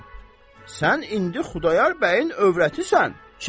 Sən indi Xudayar bəyin övrətisən.